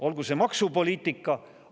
Olgu see näiteks maksupoliitika.